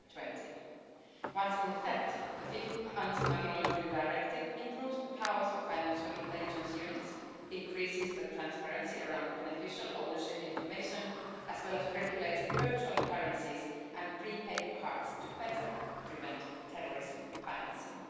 2020. Once in effect, the fifth Anti-Money Laundering Directive will improve the powers of financial intelligence units, increase the transparency around beneficial ownership information, and regulate virtual currencies and prepaid cards to better prevent terrorism financing.